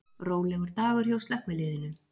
Rólegur dagur hjá slökkviliðinu